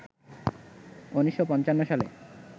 ১৯৫৫ সালে